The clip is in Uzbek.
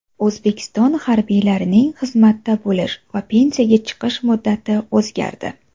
O‘zbekiston harbiylarining xizmatda bo‘lish va pensiyaga chiqish muddati o‘zgardi.